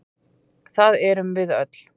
Það erum við öll.